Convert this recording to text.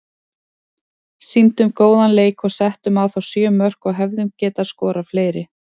Sýndum góðan leik og settum á þá sjö mörk og hefðum getað skorað fleiri.